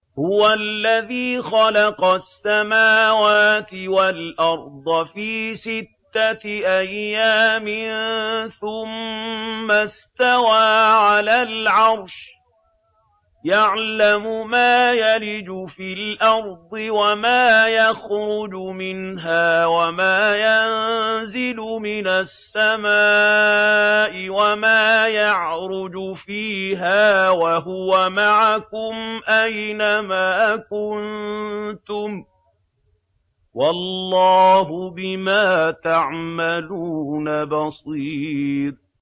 هُوَ الَّذِي خَلَقَ السَّمَاوَاتِ وَالْأَرْضَ فِي سِتَّةِ أَيَّامٍ ثُمَّ اسْتَوَىٰ عَلَى الْعَرْشِ ۚ يَعْلَمُ مَا يَلِجُ فِي الْأَرْضِ وَمَا يَخْرُجُ مِنْهَا وَمَا يَنزِلُ مِنَ السَّمَاءِ وَمَا يَعْرُجُ فِيهَا ۖ وَهُوَ مَعَكُمْ أَيْنَ مَا كُنتُمْ ۚ وَاللَّهُ بِمَا تَعْمَلُونَ بَصِيرٌ